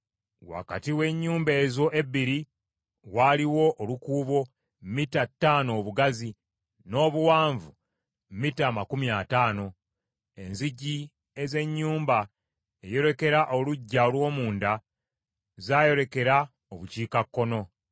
Wakati w’ennyumba ezo ebbiri, waaliwo olukuubo mita ttaano obugazi, n’obuwanvu mita amakumi ataano. Enzigi ez’ennyumba eyolekera oluggya olw’omunda zaayolekera Obukiikakkono.